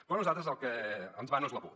però a nosaltres el que ens va no és la por